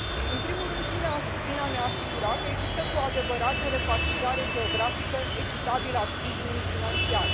În primul rând, prin a ne asigura că există cu adevărat o repartizare geografică echitabilă a sprijinului financiar.